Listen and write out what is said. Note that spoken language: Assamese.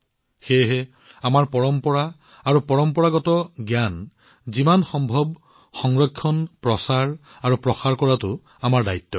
সেয়েহে আমাৰ পৰম্পৰা আৰু পৰম্পৰাগত জ্ঞান সংৰক্ষণ কৰা ইয়াক প্ৰচাৰ কৰা আৰু ইয়াক যিমান সম্ভৱ আগুৱাই নিয়াটো আমাৰ দায়িত্ব